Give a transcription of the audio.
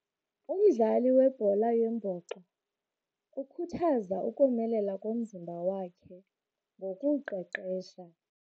Umdlali webhola yombhoxo ukhuthaza ukomelela komzimba wakhe ngokuwuqeqesha.